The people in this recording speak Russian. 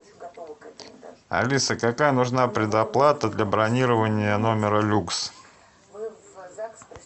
алиса какая нужна предоплата для бронирования номера люкс